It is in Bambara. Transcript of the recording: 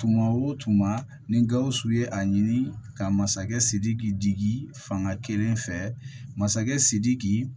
Tuma o tuma ni gawusu ye a ɲini ka masakɛ sidiki digi fanga kelen fɛ masakɛ sidiki